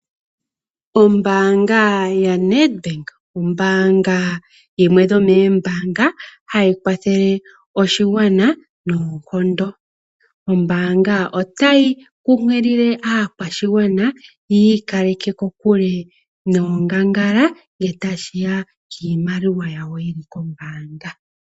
Ombaanga ya Nadbank, ombaanga yimwe yomoombaanga, ha yi kwathele oshigwana noonkondo. Ombaanga, ota yi kunkilile askwashigwana yi ikaleke, kokule noongangala ngele ta shi ya kiimaliwa yawo yi li kombaanga.